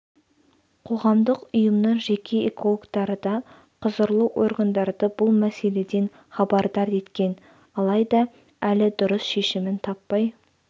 қоғамдық ұйымның жеке экологтары да құзырлы органдарды бұл мәселеден хабардар еткен алайда әлі дұрыс шешімін таппай